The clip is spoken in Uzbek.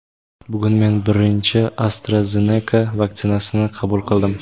Bugun men birinchi AstraZeneca vaksinasini qabul qildim.